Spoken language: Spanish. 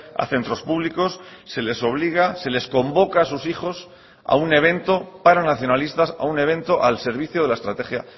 a centros públicos se les obliga se les convoca a sus hijos a un evento para nacionalistas a un evento al servicio de la estrategia